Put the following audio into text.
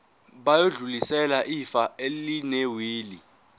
bayodlulisela ifa elinewili